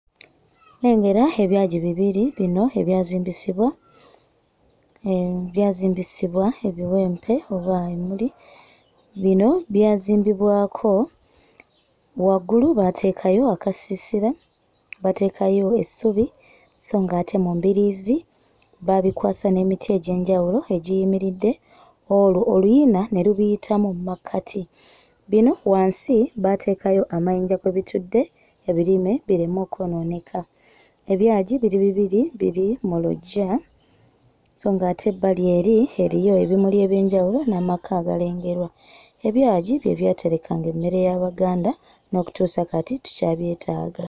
Nnengera ebyagi bibiri bino ebyazimbisibwa, eh byazimbisibwa ebiwempe oba emmuli. Bino byazimbibwako waggulu baateekayo akasiisira, bateekayo essubi sso ng'ate mu mbiriizi baabibwasa n'emiti egy'enjawulo egiyimiridde olwo oluyina ne lubiyitamu mu makkati. Bino wansi baateekayo amayinja kwe bitudde ebirime bireme okwonooneka. Ebyagi biri bibiri biri mu luggya sso ng'ate ebbali eri rriyo ebimuli eby'enjawulo n'amaka agalengerwa. Ebyagi bye byaterekanga emmere y'Abaganda n'okutuusa kati tukyabyetaaga.